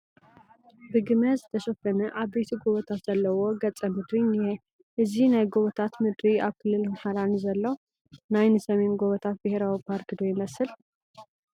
ብግመ ዝተሸፈነ ዓበይቲ ጐቦታት ዘለዎ ገፀ ምድሪ እኒሀ፡፡ እዚ ናይ ጐቦታት ምድሪ ኣብ ክልል ኣምሓራ ንዘሎ ናይ ንሰሜን ጐቦታት ብሄራዊ ፓርክ ዶ ይመስል?